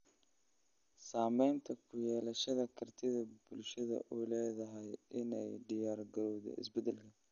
Saamayn ku yeelashada kartida bulshadu u leedahay in ay u diyaargarowdo isbedel.